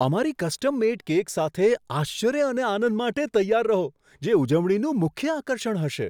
અમારી custom made cake સાથે આશ્ચર્ય અને આનંદ માટે તૈયાર રહો, જે ઉજવણીનું મુખ્ય આકર્ષણ હશે.